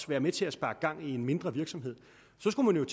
være med til at sparke gang i en mindre virksomhed så skulle man